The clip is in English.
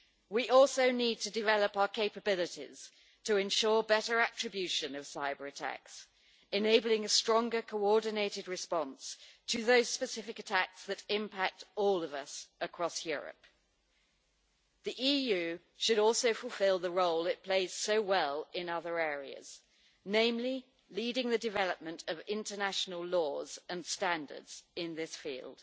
We also need to develop our capabilities to ensure better attribution of cyber-attacks, enabling a stronger coordinated response to those specific attacks that impact all of us across Europe. The EU should also fulfil the role it plays so well in other areas namely, leading the development of international laws and standards in this field.